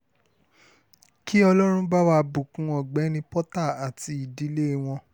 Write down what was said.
kí ọlọ́run bá wá bùkún ọ̀gbẹ́ni porta àti ìdílé wọn